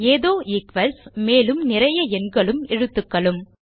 ஏதோ ஈக்வல்ஸ் மேலும் நிறைய எண்களும் எழுத்துக்களும்